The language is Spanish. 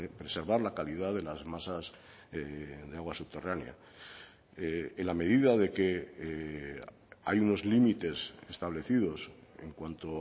preservar la calidad de las masas de agua subterránea en la medida de que hay unos límites establecidos en cuanto